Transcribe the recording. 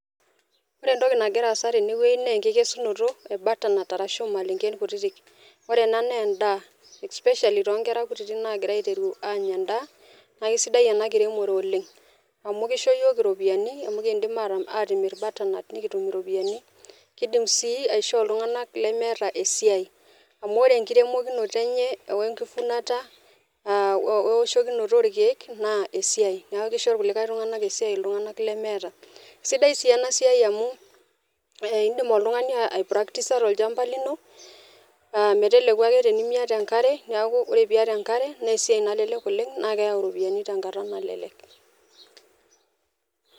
Ore entoki nagira aasa tene naa enkikesunoto ebutter nut ashu ormalenke , ore ena naa endaa especially toonkera nagira aiteru anya endaa naa kisidai enakiremore oleng , amu kisho iyiok iropiyiani amu ekidim atimir butter nut nikitum iropiyiani , kidim sii aisho iltunganak lemeeta esiai amu ore enkiremokinoto enye , wenkivunata , wewoshokinoto orkiek naa esiai niaku kisho irkulie tunganak esiai , sidai si enasiai amu indim oltungani aipractisa tolchamba lino meteleku ake tenimiata enkare , niaku ore teniata enkare naa esiai nalelek oleng naa keyau ropiyiani tenkata nalelek.